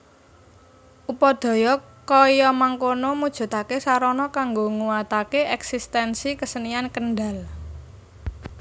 Upadaya kaya mangkono mujudake sarana kanggo nguwatake eksistensi kesenian Kendal